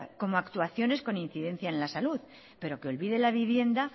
como actuaciones con incidencia en la salud pero que olvide la vivienda